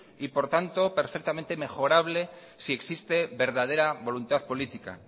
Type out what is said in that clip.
y por tanto perfectamente mejorable si existe verdadera voluntad política